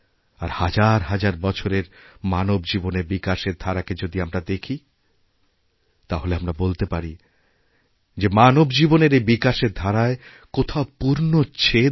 আর হাজার হাজার বছরের মানব জীবনের বিকাশের ধারাকেযদি আমরা দেখি তাহলে আমরা বলতে পারি যে মানব জীবনের এই বিকাশের ধারায় কোথাওপূর্ণচ্ছেদ নেই